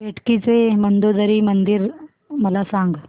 बेटकी चे मंदोदरी मंदिर मला सांग